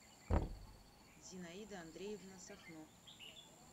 зинаида андреевна сахно